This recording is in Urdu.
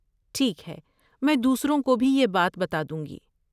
ٹھیک ہے، میں دوسروں کو بھی یہ بات بتادوں گی۔